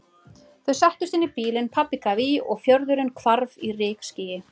Þau settust inn í bílinn, pabbi gaf í og fjörðurinn hvarf í rykskýi.